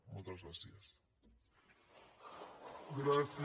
moltes gràcies